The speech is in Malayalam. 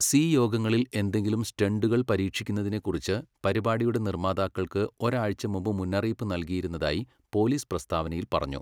സി യോഗങ്ങളിൽ എന്തെങ്കിലും സ്റ്റണ്ടുകൾ പരീക്ഷിക്കുന്നതിനെക്കുറിച്ച് പരിപാടിയുടെ നിർമ്മാതാക്കൾക്ക് ഒരാഴ്ച മുമ്പ് മുന്നറിയിപ്പ് നൽകിയിരുന്നതായി പോലീസ് പ്രസ്താവനയിൽ പറഞ്ഞു.